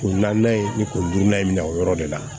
Ko naan in ni kuru n'an ye minɛ o yɔrɔ de la